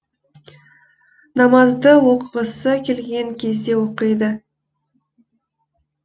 намазды оқығысы келген кезде оқиды